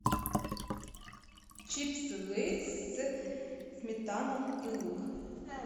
чипсы лейс сметана и лук